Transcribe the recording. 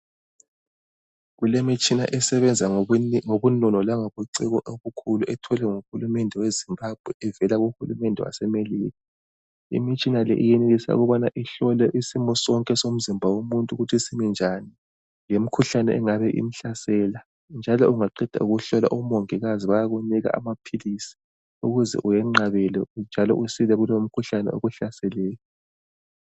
Kulemitshina esebenza ngobunono langobuciko obukhulu etholwe nguhulumende weZimbabwe evela kuhulumende waseMelika. Imitshina le iyenelisa ukubana ikuhlola isimo sonke somzimba womuntu ukuthi simibnjani, lemkhuhlane engabe imhlasela njalo ungaqeda ukuhlolwa omongikazi bayakunika amaphilisi ukuze wenqabele njalo usile kumkhuhlane okuhlaseleyo.